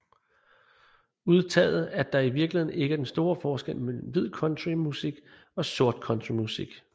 Udtaget at der i virkeligheden ikke er den store forskel mellem hvid country musik og sort country musik